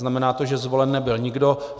Znamená to, že zvolen nebyl nikdo.